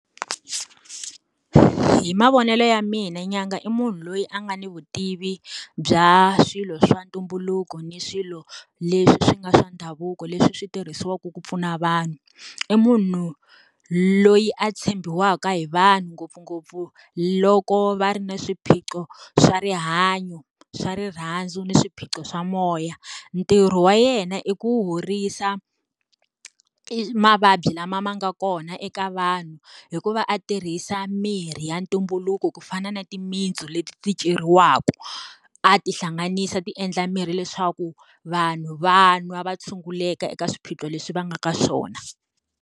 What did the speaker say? Hi mavonelo ya mina nyanga i munhu loyi a nga ni vutivi bya swilo swa ntumbuluko ni swilo leswi swi nga swa ndhavuko leswi swi tirhisiwaka ku pfuna vanhu. I munhu loyi a tshembiwaka hi vanhu ngopfungopfu loko va ri na swiphiqo swa rihanyo, swa rirhandzu, ni swiphiqo swa moya. Ntirho wa yena i ku horisa mavabyi lama ma nga kona eka vanhu, hi ku va a tirhisa mirhi ya ntumbuluko ku fana na timitsu leti ceriwaka, a tihlanganisa ti endla mirhi leswaku, vanhu va nwa tshunguleka eka swiphiqo leswi va nga ka swona.